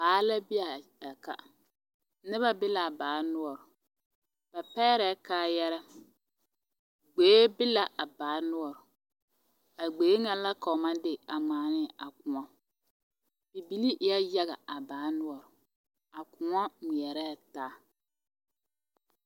Baa la be a ka noba be l,a baa noɔre ba pɛgrɛɛ kaayarɛɛ gboe be la a baa noɔre a gboe ŋa la ka ba maŋ de a ŋmaa ne a koɔ bibilii eɛ yaga a baa noɔre a koɔ ŋmeɛrɛɛ taa.